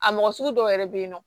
A mɔgɔ sugu dɔw yɛrɛ be yen nɔ